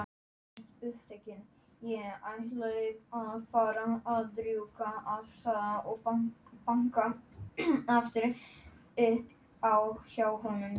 Hvernig veit hann að upplesturinn verður fjölmennur?